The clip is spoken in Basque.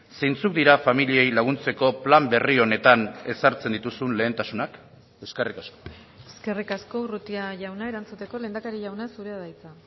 zeintzuk dira familiei laguntzeko plan berri honetan ezartzen dituzun lehentasunak eskerrik asko eskerrik asko urrutia jauna erantzuteko lehendakari jauna zurea da hitza